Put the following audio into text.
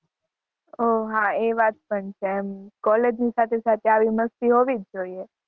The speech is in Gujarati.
ઓહ્હ હા એવાત પણ છે college ની સાથે આવી મસ્તી હોવી જોયે